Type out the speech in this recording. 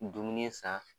Dumuni san